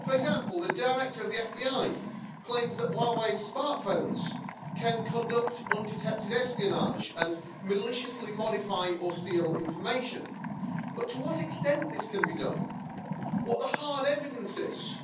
For example, the director of the FBI claims that Huawei smartphones can conduct undetected espionage and maliciously modify or steal information, but to what extent can this be done? What the hard evidence is